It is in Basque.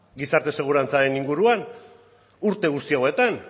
gizarte segurantzaren inguruan urte guzti hauetan